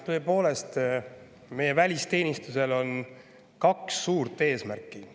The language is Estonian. Tõepoolest, meie välisteenistusel on kaks suurt eesmärki.